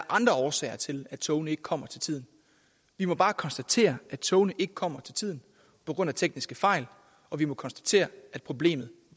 andre årsager til at togene ikke kommer til tiden vi må bare konstatere at togene ikke kommer til tiden på grund af tekniske fejl og vi må konstatere at problemet